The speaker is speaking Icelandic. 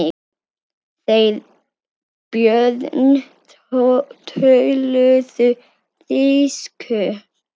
Þeir Björn töluðu þýsku.